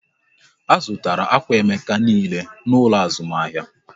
A zụtara akwà Emeka niile n'ụlọ azụmahịa